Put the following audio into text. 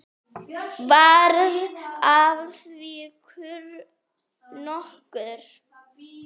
Varð af því kurr nokkur.